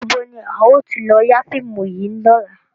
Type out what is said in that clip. Níbo ni a ó ti lọ yà fíìmù yìí lọ́la?